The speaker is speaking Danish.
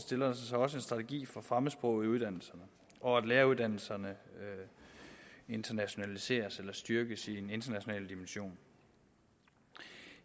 også en strategi for fremmedsprog i uddannelserne og at læreruddannelserne internationaliseres eller styrkes i en international dimension